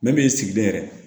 Ne bi sigilen yɛrɛ